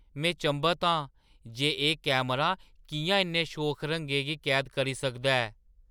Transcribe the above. में चंभत आं जे एह्‌ कैमरा किʼयां इन्ने शोख रंगें गी कैद करी सकदा ऐ!